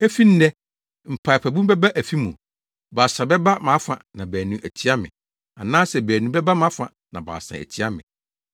Efi nnɛ, mpaapaemu bɛba afi mu, baasa bɛba mʼafa na baanu atia me anaasɛ baanu bɛba mʼafa na baasa atia me.